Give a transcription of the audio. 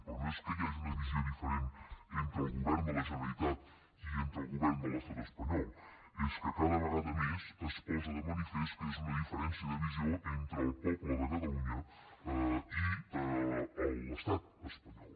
però no és que hi hagi una visió diferent entre el govern de la generalitat i el govern de l’estat espanyol és que cada vegada més es posa de manifest que és una diferència de visió entre el poble de catalunya i l’estat espanyol